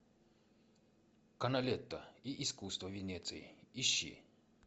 каналетто и искусство венеции ищи